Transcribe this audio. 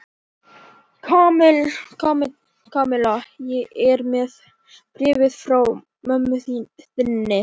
Kamilla, ég er með bréfið frá mömmu þinni.